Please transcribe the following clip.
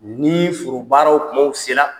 Ni forobaaraw tumaw sera